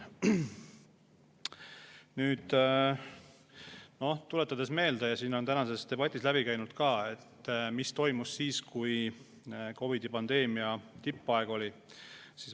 Aga nüüd tuletan meelde ja see on tänases debatis läbi käinud ka, mis toimus siis, kui COVID-i pandeemia tippaeg oli.